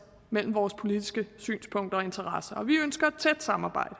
mellem vores politiske synspunkter og interesser og vi ønsker et tæt samarbejde